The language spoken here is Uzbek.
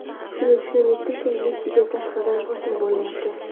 Shuni tushunib yetdimki, Messiga tashqaridan bosim bo‘lyapti.